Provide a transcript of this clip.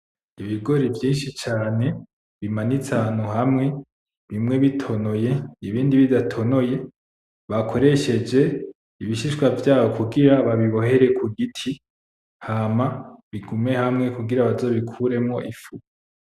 Ibigori vyinshi cane bimanitse ahantu hamwe, bimwe bitonoye ibindi bidatonoye bakoresheje ibishishwa vyabo kugira babibohere ku giti. Hama bigume hamwe kugira bazobikuremwo ifu.